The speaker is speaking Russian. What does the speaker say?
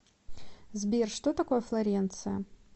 сбер что такое флоренция